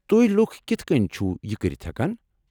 تُہۍ لُكھ كِتھہٕ كٕنۍ چھِو یہِ كٔرِتھ ہیكان ؟